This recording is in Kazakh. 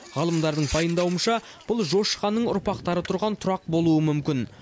ғалымдардың пайымдауынша бұл жошы ханның ұрпақтары тұрған тұрақ болуы мүмкін